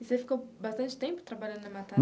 E você ficou bastante tempo trabalhando na